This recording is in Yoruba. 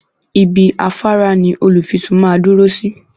Ibi afárá ní olùfisùn màá dúró sí.